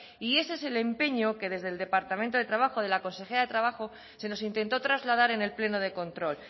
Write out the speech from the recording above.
y ese es el empeño que desde del departamento de trabajo de la consejera de trabajo se nos intentó trasladar en el pleno de control